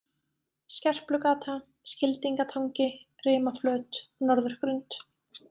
Skerplugata, Skildingatangi, Rimaflöt, Norðurgrund